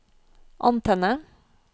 antenne